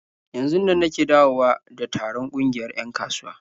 Yanzunnan nake dawowa da taron ƙungiyar 'yan kasuwa.